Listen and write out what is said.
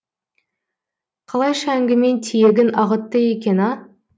қалайша әңгіме тиегін ағытты екен а